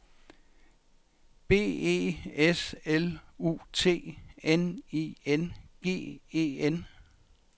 B E S L U T N I N G E N